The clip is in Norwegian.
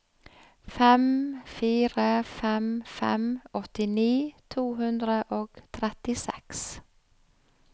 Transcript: fem fire fem fem åttini to hundre og trettiseks